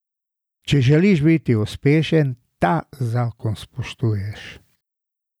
Če želiš biti uspešen, ta zakon spoštuješ.